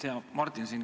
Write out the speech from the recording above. Hea Martin!